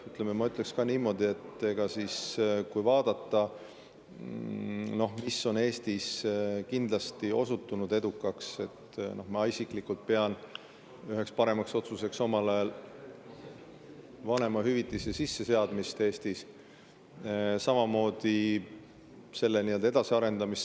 Ma ütleks niimoodi, et kui vaadata, mis on Eestis kindlasti osutunud edukaks, siis ma isiklikult pean üheks otsuseks omal ajal vanemahüvitise sisseseadmist Eestis ja selle edasiarendamist.